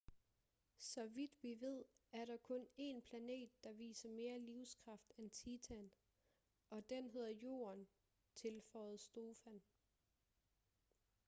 så vidt vi ved er der kun en planet der viser mere livskraft end titan og den hedder jorden tilføjede stofan